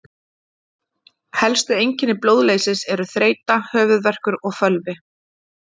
Helstu einkenni blóðleysis eru þreyta, höfuðverkur og fölvi.